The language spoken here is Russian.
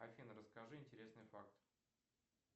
афина расскажи интересный факт